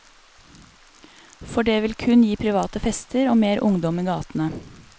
For det vil kun gi private fester og mer ungdom i gatene.